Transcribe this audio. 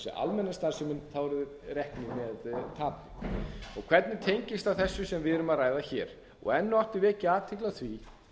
almenna starfsemin þá eru þeir reknir með tapi hvernig tengist það þessu sem við erum að ræða hér enn og aftur vek ég athygli á því